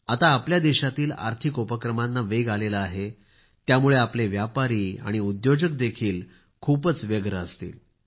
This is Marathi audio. आता आपल्या देशातील आर्थिक उपक्रमांना वेग आला आहे त्यामुळे आपले व्यापारी आणि उद्योजक देखील खूपच व्यस्त असतील